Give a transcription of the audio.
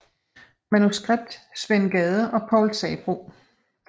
Manuskript Svend Gade og Povl Sabroe